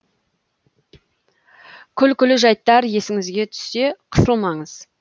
күлкілі жайттар есіңізге түссе қысылмаңыз